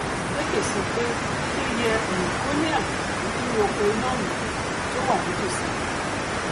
ekeh sọ pé ilé yẹ um kó rí àǹfààní nínú oko iná um oòrùn tó wà nítòsí wọn